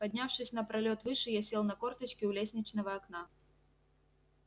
поднявшись на пролёт выше я сел на корточки у лестничного окна